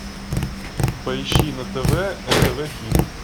поищи на тв нтв хит